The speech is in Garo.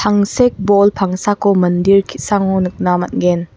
tangsek bol pangsako mandir ki·sango nikna man·gen.